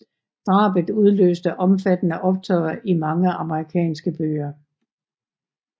Drabet udløste omfattende optøjer i mange amerikanske byer